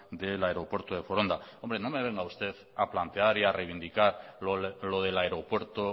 de foronda hombre no me venga usted a plantear y a reivindicar lo del aeropuerto